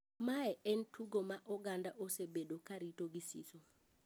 Mae en tugo ma oganda osebedo ka rito gi siso